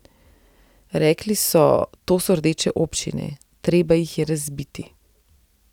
Rekli so, to so rdeče občine, treba jih je razbiti.